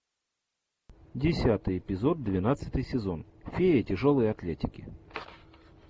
десятый эпизод двенадцатый сезон феи тяжелой атлетики